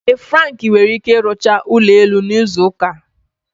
Ee Frank nwere ike rụchaa ụlọ elu n'izu ụka a.